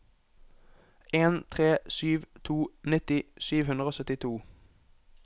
en tre sju to nitti sju hundre og syttito